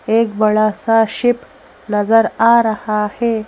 एक बड़ा सा शिप नजर आ रहा है।